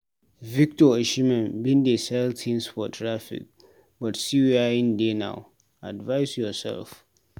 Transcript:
Victor Osimhen bin dey sell tins for traffic but see where im dey now, advice yoursef.